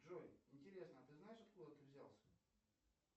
джой интересно а ты знаешь откуда ты взялся